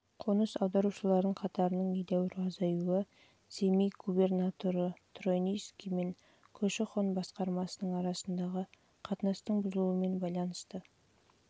жылдан қоныс аударушылардың қатарының едәуір азаюы семей губернаторы тройницкий мен көші-қон басқармасының арасындағы қатынастың бұзылуымен байланысты